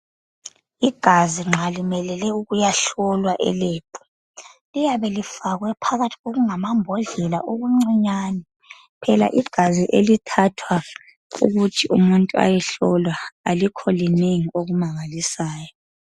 Igazi nxa limelele ukuyahlolwa eLebhu liyabe lifakwe phakathi kokungama mbodlela okuncinyane phela igazi elithathwa ukuthi umuntu ayehlolwa alikho linengi okumangalisayo.